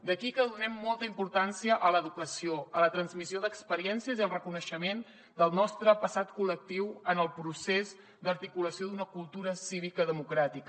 d’aquí que donem molta importància a l’educació a la transmissió d’experiències i al reconeixement del nostre passat col·lectiu en el procés d’articulació d’una cultura cívica democràtica